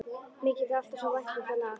Mér þykir alltaf svo vænt um það lag.